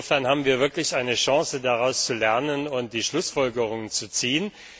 Insofern haben wir wirklich eine Chance, daraus zu lernen und die Schlussfolgerungen zu ziehen.